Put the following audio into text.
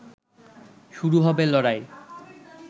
শুরু হবে লড়াই